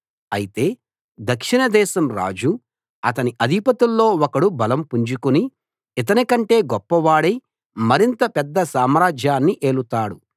అయితే దక్షిణదేశం రాజు అతని అధిపతుల్లో ఒకడు బలం పుంజుకుని ఇతనికంటే గొప్పవాడై మరింత పెద్ద సామ్రాజ్యాన్ని ఏలుతాడు